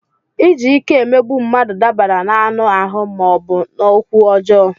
Iji ike emegbu mmadụ dabara n'anụ ahụ ma ọ bụ n'okwu ọjọọ.